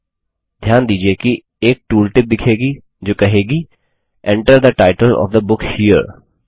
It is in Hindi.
ध्यान दीजिये कि एक टूल टिप दिखेगी जो कहेगी Enter the title of the book here